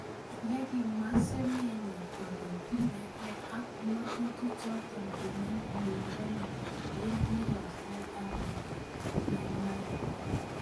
Yangimwa Semenye kole pireke ak ngatutik choto kenyit negonye eng murot tai Africa kimwa: maimana.